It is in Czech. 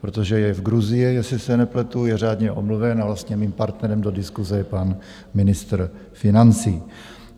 protože je v Gruzii, jestli se nepletu, je řádně omluven a vlastně mým partnerem do diskuse je pan ministr financí.